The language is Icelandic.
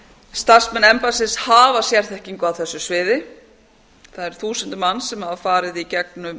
starfsmenn embættisins hafa sérþekkingu á þessu sviði það eru þúsundir manns sem hafa farið í gegnum